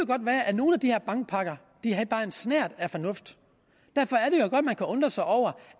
godt være at nogle af de her bankpakker havde bare en snert af fornuft i kan undre sig over